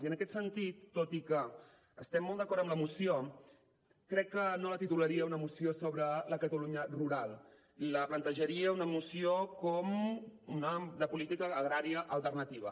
i en aquest sentit tot i que estem molt d’acord amb la moció crec que no la titularia una moció sobre la catalunya rural la plantejaria una moció com de política agrària alternativa